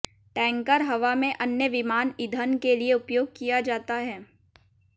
tanker हवा में अन्य विमान ईधन के लिए उपयोग किया जाता है